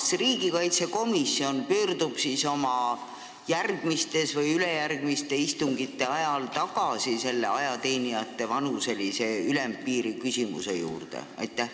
Kas riigikaitsekomisjon pöördub siis oma järgmiste või ülejärgmiste istungite ajal tagasi selle ajateenijate vanuselise ülempiiri küsimuse juurde?